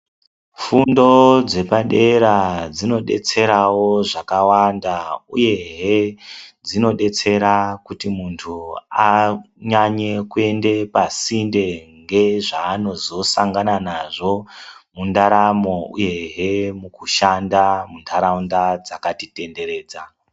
Fundo dzepadera dzinodetserawo zvakwanda uye he dzinodetsera kuti muntu anyanye kuenda pasinde ngezvanozosangana nazvo mundaramo uye he mukushanda mundaraunda dzakatitenderedza.